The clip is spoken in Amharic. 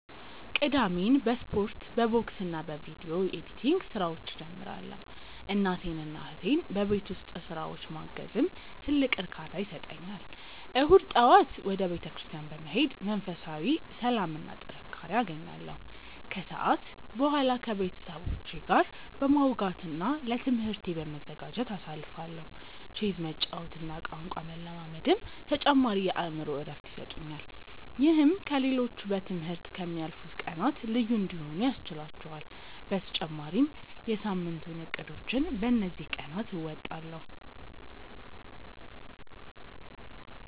ቅዳሜን በስፖርት፣ በቦክስና በቪዲዮ ኤዲቲንግ ስራዎች እጀምራለሁ። እናቴንና እህቴን በቤት ውስጥ ስራዎች ማገዝም ትልቅ እርካታ ይሰጠኛል። እሁድ ጠዋት ወደ ቤተክርስቲያን በመሄድ መንፈሳዊ ሰላምና ጥንካሬ አገኛለሁ፤ ከሰዓት በኋላ ከቤተሰቦቼ ጋር በማውጋትና ለትምህርቴ በመዘጋጀት አሳልፋለሁ። ቼዝ መጫወትና ቋንቋ መለማመድም ተጨማሪ የአእምሮ እረፍት ይሰጡኛል። ይህም ከ ሌሎቹ በ ትምህርት ከ ምያልፉት ቀናት ልዩ እንዲሆኑ ያስችህላቹአል በተጨማሪም የ ሳምንቱን እቅዶችን በ እንዚህ ቀናት አወጣለሁ።